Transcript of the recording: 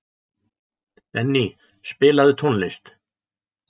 Benný, spilaðu tónlist.